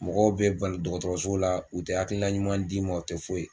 Mɔgɔw be ban dɔgɔtɔrɔso la u te hakilila ɲuman d'i ma u tɛ foyi